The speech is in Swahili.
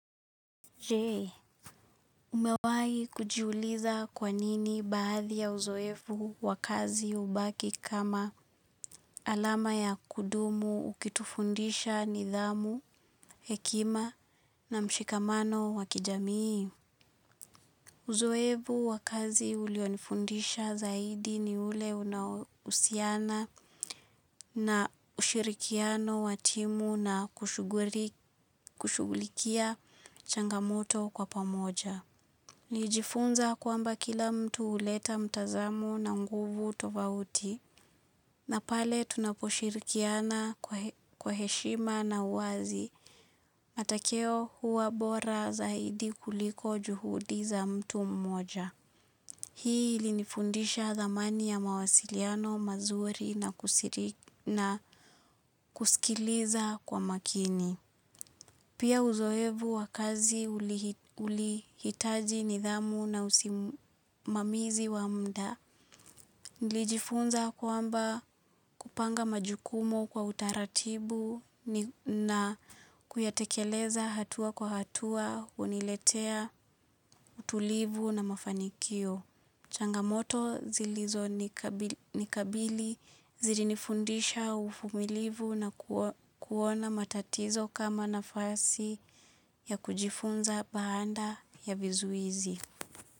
Je, umewahi kujiuliza kwa nini baadhi ya uzoefu wa kazi hubaki kama alama ya kudumu ukitufundisha nidhamu, hekima na mshikamano wa kijamii? Uzoefu wa kazi ulionifundisha zaidi ni ule unaohusiana na ushirikiano wa timu na kushughulikia changamoto kwa pamoja. Nilijifunza kwamba kila mtu huleta mtazamo na nguvu tovauti, na pale tunaposhirikiana kwa heshima na uwazi, matokeo huwa bora zaidi kuliko juhudi za mtu mmoja. Hii ilinifundisha thamani ya mawasiliano mazuri na kusikiliza kwa makini. Pia uzoefu wa kazi ulihitaji nidhamu na usimamizi wa muda. Nilijifunza kwamba kupanga majukumu kwa utaratibu na kuyatekeleza hatua kwa hatua huniletea utulivu na mafanikio. Changamoto zilizonikabili zilinifundisha uvumilivu na kuona matatizo kama nafasi ya kujifunza baada ya vizuizi.